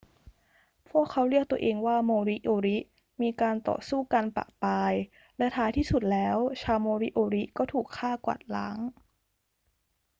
พวกเขาเรียกตัวเองว่าโมริโอริ มีการต่อสู้กันประปราย และท้ายที่สุดแล้วชาวโมริโอริก็ถูกฆ่ากวาดล้าง